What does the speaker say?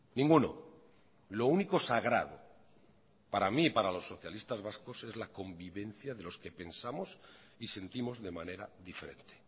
ninguno lo único sagrado para mí y para los socialistas vascos es la convivencia de los que pensamos y sentimos de manera diferente